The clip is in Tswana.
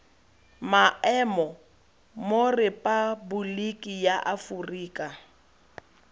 maemo mo repaboliki ya afoprika